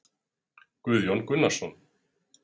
Guðjón Gunnarsson